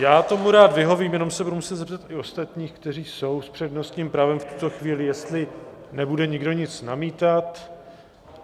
Já tomu rád vyhovím, jenom se budu muset zeptat i ostatních, kteří jsou s přednostním právem v tuto chvíli, jestli nebude nikdo nic namítat.